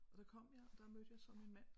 Og der kom jeg og der mødte jeg så min mand